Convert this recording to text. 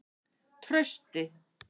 Trausti